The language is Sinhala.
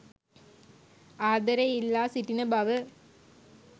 ආදරය ඉල්ලා සිටින බව